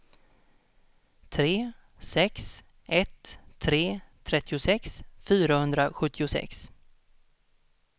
tre sex ett tre trettiosex fyrahundrasjuttiosex